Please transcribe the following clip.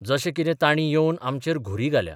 जशे कितें तांणी येवन आमचेर घुरी घाल्या.